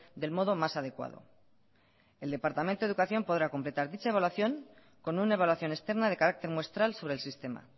del modo más adecuado el departamento de educación podrá completar dicha evaluación con una evaluación externa de carácter muestral sobre el sistema